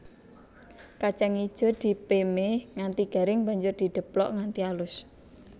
Kacang ijo dipémé nganti garing banjur dideplok nganti alus